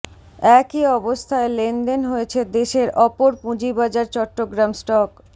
একই অবস্থায় লেনদেন হয়েছে দেশের অপর পুঁজিবাজার চট্টগ্রাম স্টক